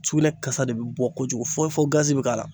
Sugunɛ kasa de be bɔ kojugu fɔ fɔ g azi bi k'a la